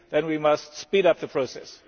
we must speed up the process.